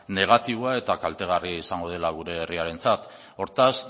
negatiboa eta kaltegarria izango dela gure herriarentzat hortaz